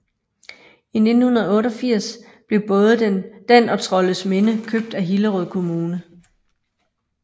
I 1988 blev både den og Trollesminde købt af Hillerød Kommune